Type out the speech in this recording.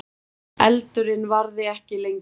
Eldurinn varði ekki lengi